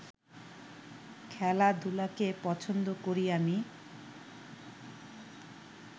খেলাধুলাকে পছন্দ করি আমি